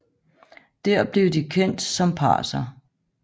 Dér blev de kendt som parser